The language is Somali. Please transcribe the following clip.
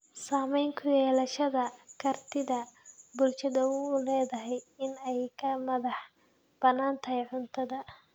Saamayn ku yeelashada kartida bulshadu u leedahay in ay ka madax banaanaato cuntada.